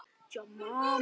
Atlot þín hafa gufað upp.